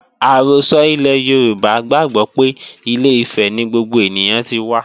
Àrọ́sọ ilẹ̀ Yorùbá gbàgbó pé Ilé-Ifẹ̀ ni gbogbo ènìyàn tí wá